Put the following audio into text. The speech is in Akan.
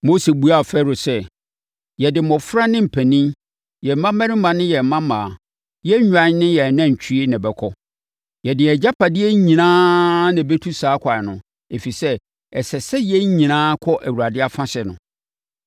Mose buaa Farao sɛ, “Yɛde mmɔfra ne mpanin, yɛn mmammarima, yɛn mmammaa, yɛn nnwan ne yɛn anantwie na ɛbɛkɔ. Yɛde yɛn agyapadeɛ nyinaa na ɛbɛtu saa ɛkwan no, ɛfiri sɛ, ɛsɛ sɛ yɛn nyinaa kɔ Awurade afahyɛ no.”